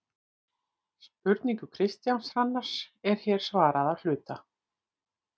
Spurningu Kristjáns Hrannars er hér svarað að hluta.